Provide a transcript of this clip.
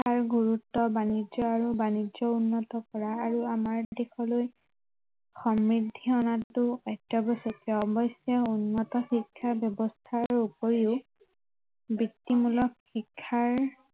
গুৰুত্ৱ আৰু বাণিজ্য় আৰু বাণিজ্য় উন্নত কৰা আৰু আমাৰ দেশলৈ সমৃদ্ধি অনাতো অত্য়াৱশ্য়কীয় অৱশ্য়ে উন্নত শিক্ষা ব্য়ৱস্থাৰ উপৰিও বৃত্তিমূলক শিক্ষাৰ